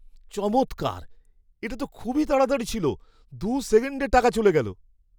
চমৎকার! এটা তো খুবই তাড়াতাড়ি ছিল। দু সেকেন্ডে টাকা চলে গেল।